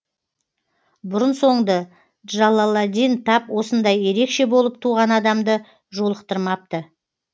бұрын соңды джалаладдин тап осындай ерекше болып туған адамды жолықтырмапты